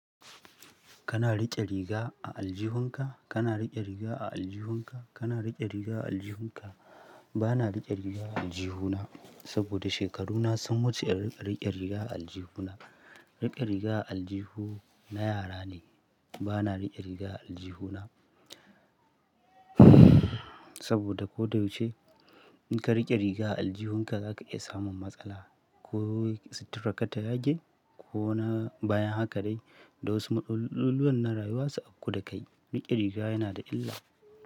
Kana riƙe riga a aljihunka? Kana riƙe riga a aljihunka? Kana riƙe riga a aljihunka? Bana riƙe riga a aljihuna, saboda shekaruna sun wuce da riƙe riga a aljihuna. Riƙe riga a aljihu na yara ne. Bana riƙe riga a aljihuna saboda ko da yaushe, in ka riƙe riga a aljihunka za ka iya samun matsala. Ko situran ka ta yage, ko na baya haka dai. Da wasu abubuwan na rayuwa su auƙu da kai. Riƙe riga yana da illa.